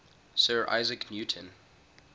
sir isaac newton